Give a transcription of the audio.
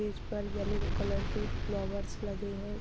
Stage पर yellow colour के flowers लगे हैं।